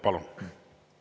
Palun!